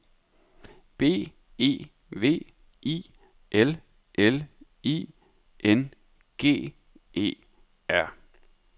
B E V I L L I N G E R